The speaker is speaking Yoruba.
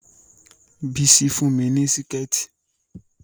Bísí fún mi ní Síkẹ̀tí